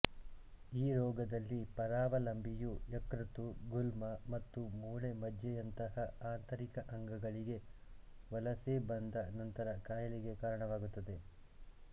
ಈ ರೋಗದಲ್ಲಿ ಪರಾವಲಂಬಿಯು ಯಕೃತ್ತು ಗುಲ್ಮ ಮತ್ತು ಮೂಳೆ ಮಜ್ಜೆಯಂತಹ ಆಂತರಿಕ ಅಂಗಗಳಿಗೆ ವಲಸೆ ಬಂದ ನಂತರ ಕಾಯಿಲೆಗೆ ಕಾರಣವಾಗುತ್ತದೆ